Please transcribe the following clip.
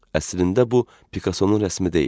Əslində bu Pikasonun rəsmi deyil.